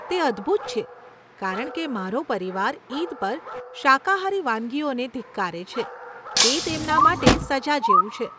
તે અદ્ભુત છે, કારણ કે મારો પરિવાર ઈદ પર શાકાહારી વાનગીઓને ધિક્કારે છે, તે તેમના માટે સજા જેવું છે.